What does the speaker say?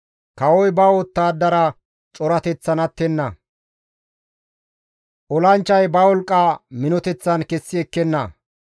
Kawoy ba wottadara corateththan attenna; olanchchay ba wolqqa minoteththan kessi ekkenna.